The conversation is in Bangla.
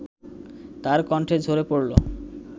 তার কন্ঠে ঝরে পড়লো